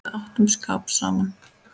Við áttum skap saman.